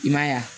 I ma ye wa